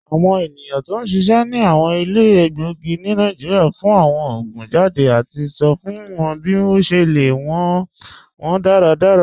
Awọn ènìyàn tó n ṣiṣẹ̀ ni awọn ilẹ̀ èlégbogì ni Nàìjíríà fún awọn oogun jàdé àti sọ̀ fún wọn bí o ṣè lè lọ wọn dàràdàrà.